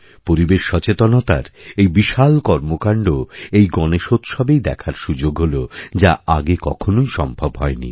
পরিবেশ সচেতনতার এই বিশাল কর্মকাণ্ড এইগনেশোৎসবেই দেখার সুযোগ হল যা আগে কখনোই সম্ভব হয় নি